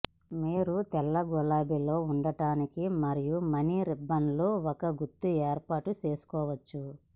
మీరు తెల్ల గులాబీలలో ఉండటానికి మరియు మణి రిబ్బన్లు ఒక గుత్తి ఏర్పాటు చేసుకోవచ్చు